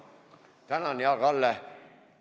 Tänan, hea Kalle!